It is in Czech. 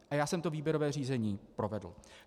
A já jsem to výběrové řízení provedl.